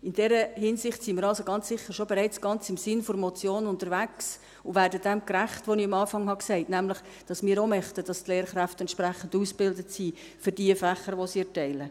In dieser Hinsicht sind wir also ganz sicher bereits ganz im Sinn der Motion unterwegs und werden dem gerecht, was ich am Anfang gesagt habe, nämlich, dass wir auch möchten, dass die Lehrkräfte entsprechend ausgebildet sind für die Fächer, die sie erteilen.